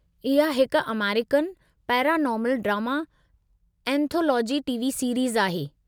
इहा हिकु American paranormal drama anthology TV series आहे।